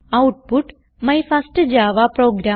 output my first Java programme